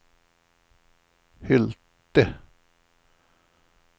Hylte